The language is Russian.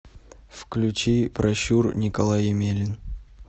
включи пращур николай емелин